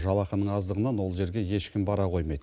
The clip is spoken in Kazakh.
жалақының аздығынан ол жерге ешкім бара қоймайды